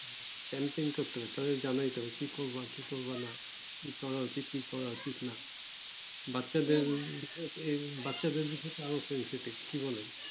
কি করবা কি করবা কি করা উচিত কি করা উচিত বাচ্চা দেড় বাচ্চা কি বলে